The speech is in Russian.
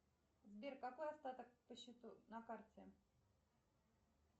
сбер какой остаток по счету на карте